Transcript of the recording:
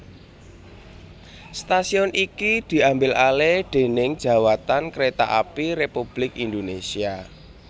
Stasiun iki diambil alih déning Djawatan Kereta Api Republik Indonesia